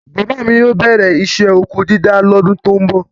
Bàbá mi yóó bẹ̀rẹ isẹ́ ọkọ dídá lọ́dún tó ń bọ̀.